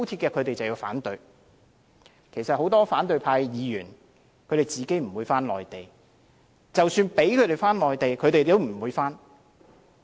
其實很多反對派議員本身不會返回內地，即使讓他們回去，他們也不會回去。